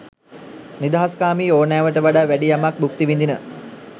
නිදහස්කාමී ඕනෑවට වඩා වැඩි යමක් භුක්ති විඳින